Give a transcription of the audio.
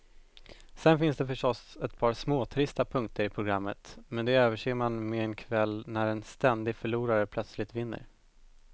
Sen finns det förstås ett par småtrista punkter i programmet, men de överser man med en kväll när en ständig förlorare plötsligt vinner.